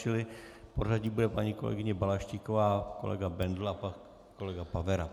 Čili v pořadí bude paní kolegyně Balaštíková, kolega Bendl a pak kolega Pavera.